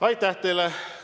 Aitäh teile!